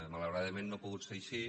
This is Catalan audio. malauradament no ha pogut ser així